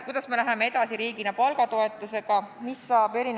Kuidas me läheme riigina edasi palgatoetusega?